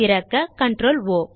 திறக்க CtrlO